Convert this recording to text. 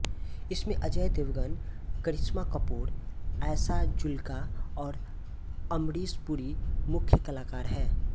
इसमें अजय देवगन करिश्मा कपूर आयशा जुल्का और अमरीश पुरी मुख्य कलाकार हैं